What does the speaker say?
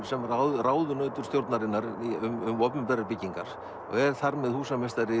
ráðunautur stjórnarinnar um opinberar byggingar og er þar með húsameistari